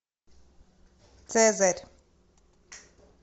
цезарь